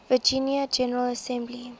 virginia general assembly